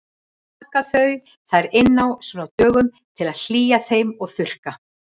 Þær taka þau þar inn á svona dögum til að hlýja þeim og þurrka.